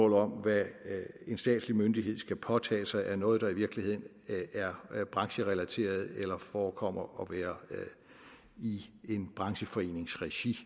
om hvad en statslig myndighed skal påtage sig af noget der i virkeligheden er brancherelateret eller forekommer være i en brancheforenings regi